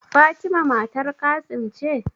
Fatima matar Qassim ce?